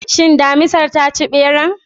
Shin Damisar ta ci ɓeran?